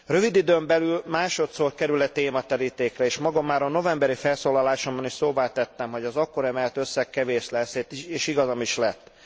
Rövid időn belül másodszor kerül e téma terítékre, és magam már a novemberi felszólalásomban is szóvá tettem, hogy az akkor emelt összeg kevés lesz, és igazam is lett.